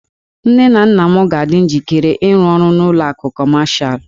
Nne na nna m ga-adị njikere ịrụ ọrụ n'ụlọ akụ Kọmashal.